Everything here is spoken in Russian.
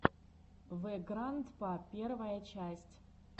вэграндпа первая часть